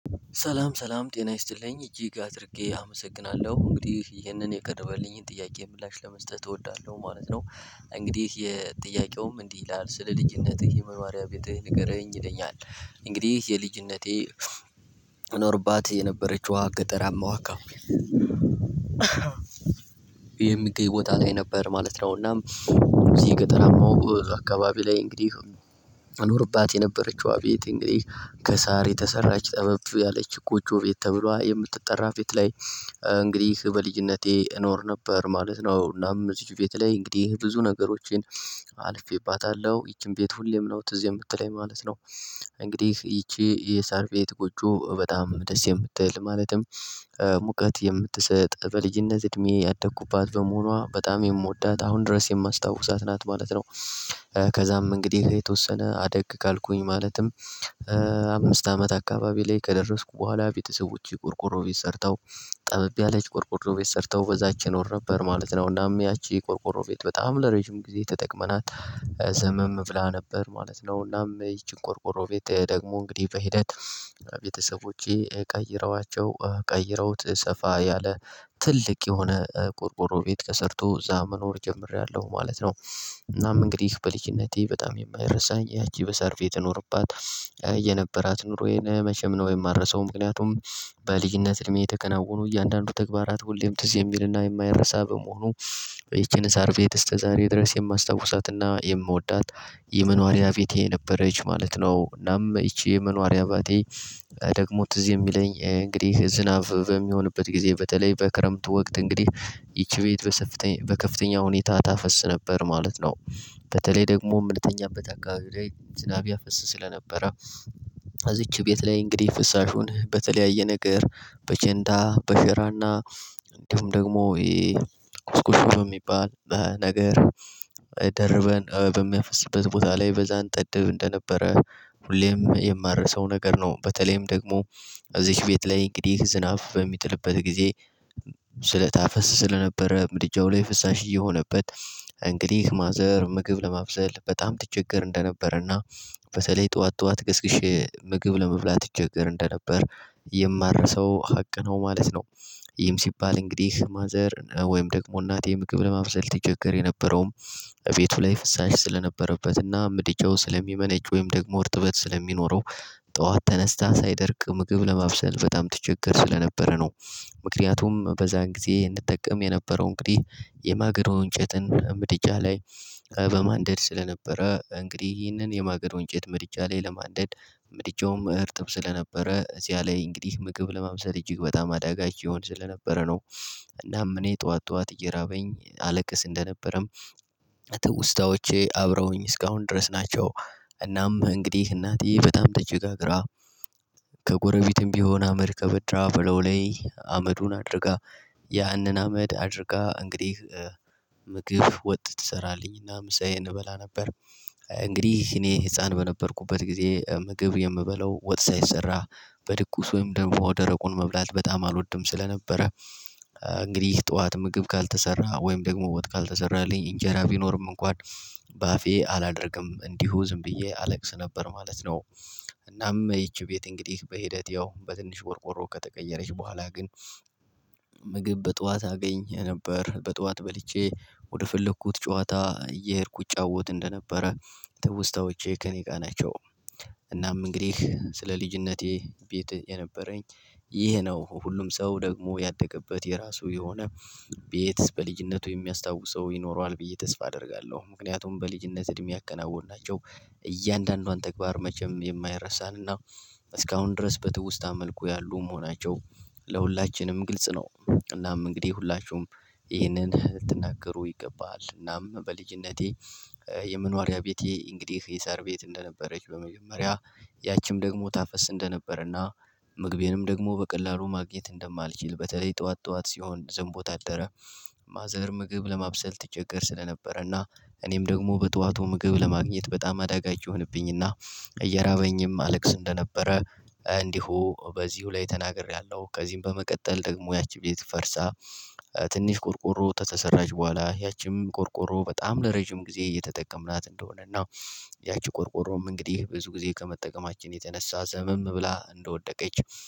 ሰላም ሰላም ጤና ይስጥልኝ እጅግ አድርጌ አመሰግናለሁ እንግዲህ ይህንን የቀረበልኝን ጥያቄ ምላሽ ለመስጠት እወዳለሁ ማለት ነው። እንግዲህ የጥያቄውም እንዲህ ይላል ስለ ልጅነትህ የመኖሪያ ቤትህ ንገረኝ ይለኛል። እንግዲህ የልጅነቴ ኖርባት የነበረችው ገጠራማ ዋካ የሚገኝ ቦታ ላይ ነበር ማለት ነውና። እዚህ የገጠራማው አካባቢ ላይ እንግዲህ አኖርባት የነበረችው አቤቴ እንግዲህ ከሳር የተሰራች ጠበብ ያለች ቁጮ ቤት ተብሎ የምትጠራ ቤት ላይ። እንግዲህ በልጅነቴ እኖር ነበር ማለት ነው እናም እዚች ቤት ላይ እንግዲህ ብዙ ነገሮቼን አልፌባታለሁ ይቺን ቤት ሁሌም ነው ትዝ የምትለኝ ማለት ነው። እንግዲህ ይቺ የሳርፌት ቁጭ በጣም ደስ የምትል ማለትም ሙቀት የምትሰጥ በልጅነት እድሜ ያደኩባት በመሆኗ በጣም የምወዳት አሁን ድረስ የማስታውሳት ናት ማለት ነው። ከዛም እንግዲህ ከየተወሰነ አደግ ካልኩኝ ማለትም አምስት አመት አካባቢ ላይ ከደረስኩ በኋላ ቤተሰቦቼ ቆርቆሮ ቤት ሰርተው። ጠበብ ያለች ቆርቆሮ ቤት ሰርተው በዛች እኖር ነበር ማለት ነው እናም ያቺ ቆርቆሮ ቤት በጣም ለረጅም ጊዜ ተጠቅመናት። ዘመም ብላ ነበር ማለት ነው እናም ይቺን ቆርቆሮ ቤት ደግሞ እንግዲህ በሂደት ቤተሰቦቼ ቀይረዋቸው ቀይረውት ሰፋ ያለ ትልቅ የሆነ ቁርቁሮ ቤት ከሰርቶ እዛ መኖር ጀምሬያለሁ ማለት ነው። እናም እንግዲህ በልክነቴ በጣም የማይረሳኝ ያቺ በሳርፌ የተኖረባት የነበራት ኑሮዬን መቼም ነው የማረሳው ምክንያቱም በልጅነት እድሜ የተከናወኑ እያንዳንዱ ተግባራት ሁሌም ትዝ የሚልና የማይረሳ በመሆኑ። ይቺን እሳር ቤት እስከ ዛሬ ድረስ የማስታውሳትና የምወዳት የመኖሪያ ቤቴ ነበረች ማለት ነው። እናም ይቺ የመኖሪያ አባቴ ደግሞ ትዝ የሚለኝ እንግዲህ ዝናብ በሚሆንበት ጊዜ በተለይ በክረምቱ ወቅት እንግዲህ ይቺ ቤት በከፍተኛ ሁኔታ ታፈስ ነበር ማለት ነው። በተለይ ደግሞ የምንተኛው አካባቢ ላይ ዝናብ ያፈስ ስለነበረ እዚች ቤት ላይ እንግዲህ ፍሳሹን በተለያየ ነገር በጨንታ በሸራና እንዲሁም ደግሞ ይሄ ቁስቁስ ነው የሚባል ነገር ደርበን በሚያፈስበት ቦታ ላይ በዛን ጠድብ እንደነበረ ሁሌም የማረሰው ነገር ነው። በተለይም ደግሞ እዚች ቤት ላይ እንግዲህ ዝናብ በሚጥልበት ጊዜ ስለታፈስ ታፈስ ስለነበረ ብድጃው ላይ ፍሳሽ እየሆነበት እንግዲህ ማዘር ምግብ ለማብሰል በጣም ትቸገር እንደነበረና በተለይ ጠዋት ጠዋት ገስግሼ ምግብ ለመብላት ትቸገር እንደነበር የማረሰው ሀቅ ነው። ማለት ነው ይህም ሲባል እንግዲህ ማዘር ወይም ደግሞ እናቴ ምግብ ለማብሰል ትቸገር የነበረውም ቤቱ ላይ ፍሳሽ ስለነበረበትና ምድጃው ስለሚመነጭ ወይም ደግሞ እርጥበት ስለሚኖረው ጠዋት ተነስታ ሳይደርቅ ምግብ ለማብሰል በጣም ትቸገር ስለነበረ ነው። ምክንያቱም በዛን ጊዜ እንድጠቀም የነበረው እንግዲህ የማግዶው እንጨትን ብድጃ ላይ በማንደድ ስለነበረ ይህንን የማገዶ ወንጭት ምድጃ ላይ ለማደድ ምድጃውም እርጥብ ስለነበረ እዚያ ላይ እንግዲህ ምግብ እጅግ በጣም አዳጋች ይሆን ስለነበረ ነው። እናም እኔ ጠዋት ጠዋት እየራበኝ አለቅስ እንደነበረም ትውስታዎቼ አብረውኝ እስካሁን ድረስ ናቸው። እናም እንግዲህ እናቴ በጣም ተቸጋግራ ከጎረቤትም ቢሆን አመድ ከበድራ ብለው ላይ አመዱን አድርጋ ያንን አመድ አድርጋ እንግዲህ ምግብ ወጥ ትሰራለኝና ምሳዬን እበላ ነበር። እንግዲህ እኔ ህፃን በነበርኩበት ጊዜ ምግብ የምበለው ወጥ ሳይሰራ በድቁስ ወይም ደንፎ ደረቁን መብላት በጣም አልወድም ስለነበረ እንግዲህ ጠዋት ምግብ ካልተሰራ ወይም ደግሞ ወጥ ካልተሰራልኝ እንጀራ ቢኖርም እንኳን ባፌ አላደርግም እንዲሁ ዝም ብዬ አለቅስ ነበር ማለት ነው። እናም ይቺ ቤት እንግዲህ በሂደት ያው በትንሽ ቆርቆሮ ከተቀየረች በኋላ ግን ምግብ በጧት አገኘ ነበር በጧት በልቼ ወደፈለኩት ጨዋታ እየሄድኩ እጫወት እንደነበረ። ትውስታዎቼ ከእኔ ጋር ናቸው እናም እንግዲህ ስለ ልጅነቴ ቤት የነበረኝ ይሄ ነው ሁሉም ሰው ደግሞ ያደገበት የራሱ የሆነ ቤት በልጅነቱ የሚያስታውሰው ይኖረዋል ብዬ ተስፋ አደርጋለሁ። ምክንያቱም በልጅነት እድሜ ያከናወንናቸው እያንዳንዷን ተግባር መቼም የማይረሳንና እስካሁን ድረስ በትውስታ መልኩ ያሉም ሆናቸው ለሁላችንም ግልጽ ነው። እናም እንግዲህ ሁላችሁም ይህንን ልትናገሩ ይገባል እናም በልጅነቴ የመኖሪያ ቤቴ እንግዲህ የሳር ቤት እንደነበረች በመጀመሪያ ያቺም ደግሞ ታፈስ እንደነበረና ምግቤንም ደግሞ በቀላሉ ማግኘት እንደማልችል በተለይ ጠዋት ጠዋት ሲሆን ዝም ቦታ አደረ ማዘር ምግብ ለማብሰል ትቸገር ስለነበረና እኔም ደግሞ በጧቱ ምግብ ለማግኘት በጣም አዳጋች ይሆንብኝና እያራበኝም አለቅስ እንደነበረ እንዲሁ በዚሁ ላይ ተናግሬያለሁ። ከዚህም በመቀጠል ደግሞ ያቺ ቤት ፈርሳ ትንሽ ቆርቆሮ ተተሰራች በኋላ ያቺም ቆርቆሮ በጣም ለረጅም ጊዜ እየተጠቀምናት እንደሆነ እና። ያቺ ቆርቆሮም እንግዲህ ብዙ ጊዜ ከመጠቀማችን የተነሳ ዘመም ብላ እንደወደቀች